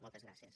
moltes gràcies